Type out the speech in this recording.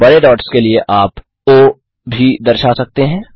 बड़े डॉट्स के लिए आप ओ भी दर्शा सकते हैं